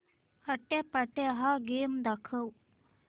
आट्यापाट्या हा गेम दाखव